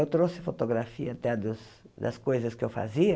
Eu trouxe fotografia até das das coisas que eu fazia.